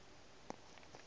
buša a re ge a